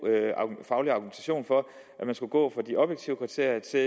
faglig argumentation for at man skulle gå fra de objektive kriterier til